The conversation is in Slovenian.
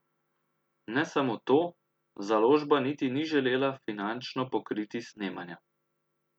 Ne samo to, založba niti ni želela finančno pokriti snemanja.